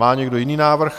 Má někdo jiný návrh?